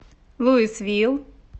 луисвилл